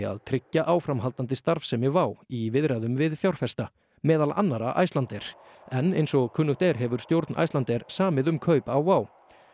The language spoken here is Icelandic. að tryggja áframhaldandi starfsemi í viðræðum við fjárfesta meðal annarra Icelandair en eins og kunnugt er hefur stjórn Icelandair samið um kaup á Wow